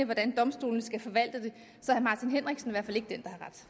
hvordan domstolene skal forvalte det